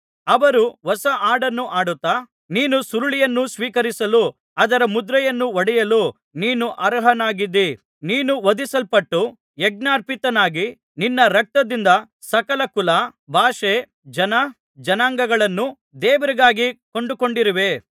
ಅವರು ಹೊಸಹಾಡನ್ನು ಹಾಡುತ್ತಾ ನೀನು ಸುರುಳಿಯನ್ನು ಸ್ವೀಕರಿಸಲು ಅದರ ಮುದ್ರೆಯನ್ನು ಒಡೆಯಲು ನೀನು ಅರ್ಹನಾಗಿದ್ದಿ ನೀನು ವಧಿಸಲ್ಪಟ್ಟು ಯಜ್ಞಾರ್ಪಿತನಾಗಿ ನಿನ್ನ ರಕ್ತದಿಂದ ಸಕಲ ಕುಲ ಭಾಷೆ ಜನ ಜನಾಂಗಗಳನ್ನು ದೇವರಿಗಾಗಿ ಕೊಂಡುಕೊಂಡಿರುವೆ